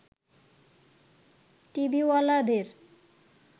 টিভিওয়ালাদের